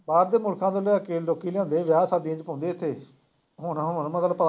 ਬਾਹਰ ਦੇ ਮੁਲਕਾਂ ਤੋਂ ਲਿਆ ਕੇ, ਲੋਕੀ ਲਿਆਉਂਦੇ ਆ ਵਿਆਹ ਸ਼ਾਦੀਆਂ ਚ ਹੁੰਦੇ ਇੱਥੇ, ਹੋਣਾ ਹੋਣ ਮਤਲਬ